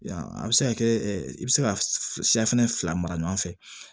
A bɛ se ka kɛ i bɛ se ka siyɛfe fila mara ɲɔgɔn fɛ